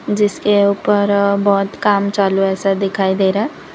जिसके ऊपर अह बहुत काम चालू है ऐसा दिखाई दे रहा है।